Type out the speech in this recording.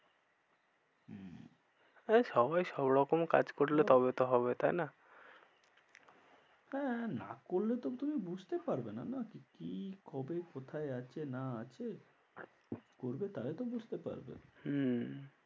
আরে সবাই সব রকম কাজ করলে তবে তো হবে তাই না? হ্যাঁ না করলে তো তুমি বুঝতে পারবে না যে কি কবে কোথায় আছে না আছে করবে তাহলে তো বুঝতে পারবে। হম